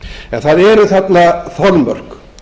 en það eru þarna þolmörk